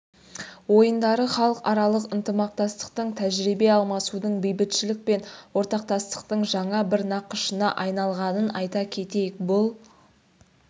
ойындары халықаралық ынтымақтастықтың тәжірибе алмасудың бейбітшілік пен ортақтастықтың жаңа бір нақышына айналғанын айта кетейік бұл